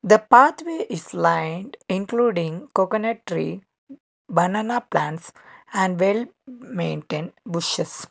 The pathway is lined including coconut tree banana plants and well maintained bushes.